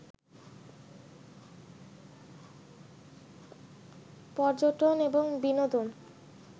পর্যটন এবং বিনোদন